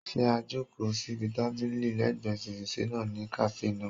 Ṣé a jòkó síbi tábìlì lẹ́ẹ̀gbẹ́ fèrèsé náà ní kàáfè náà?